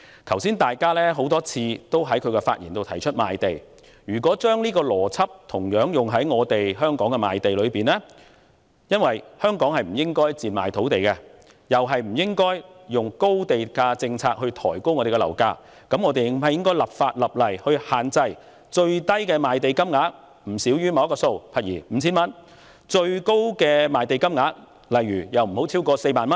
剛才也有多位議員在發言中提及賣地，要是把同一套邏輯應用於本港的賣地交易上，則基於香港不應賤賣土地及不應採取高地價政策抬高樓價的原則，我們是否應該立法限制最低賣地金額不少於某個數額及最高賣地金額不可超出某個數額呢？